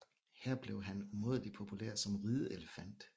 Her blev han umådelig populær som rideelefant